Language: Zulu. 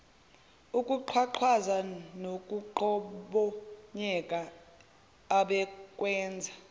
ukuqhwaqhwaza nokuqhobonyeka abekwenza